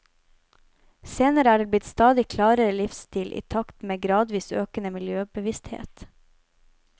Senere er det blitt stadig klarere livsstil, i takt med gradvis økende miljøbevissthet.